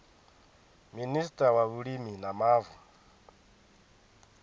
minista wa vhulimi na mavu